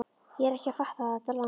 Ég er ekki að fatta þetta land.